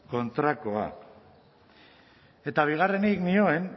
kontrakoa eta bigarrenik nioen